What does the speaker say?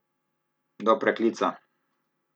Do preklica!